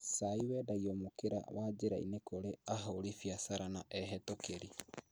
Chai wendagio mũkĩra wa njĩrainĩ kũrĩ ahũri biacara na ehetũkĩri